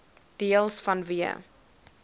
deels vanweë